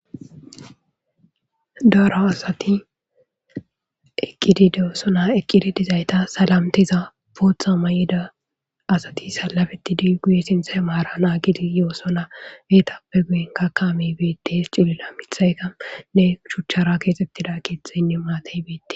Daro asati eqqidi de'osona eqqidi dizayta salantiza booththa mayiza asati salametidi guye sinththe maara naagidi yoosona etappe guyenkka kaamey bettees cilila miththayka shuchchara keexetida keeththeyne maatay bete...